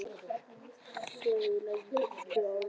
Sér í lagi fyrstu tvö árin.